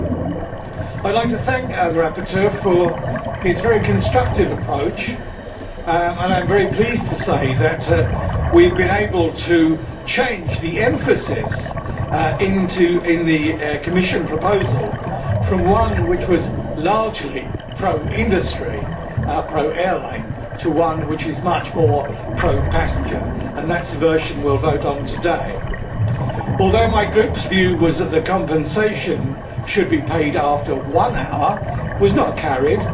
I would like to thank the rapporteur for his very constructive approach, and I am very pleased to say that we have been able to change the emphasis in the Commission proposal from one which was largely pro industry pro airline to one which is much more pro passenger, and that is the version we will vote on today. Although my Group's view that compensation should be paid after one hour was not carried,